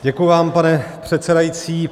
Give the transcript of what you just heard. Děkuji vám, pane předsedající.